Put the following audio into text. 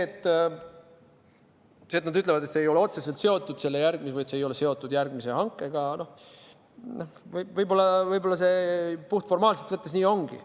Kui nad ütlevad, et see ei ole otseselt seotud sellega või et see ei ole seotud järgmise hankega – noh, võib-olla see puhtformaalselt võttes nii ongi.